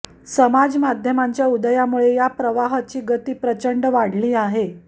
समाजमाध्यमांच्या उदयामुळे या प्रवाहाची गती प्रचंड वाढली आहे